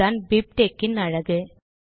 இதுதான் பிப்டெக்ஸ் இன் அழகு